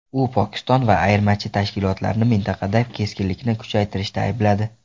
U Pokiston va ayirmachi tashkilotlarni mintaqada keskinlikni kuchaytirishda aybladi.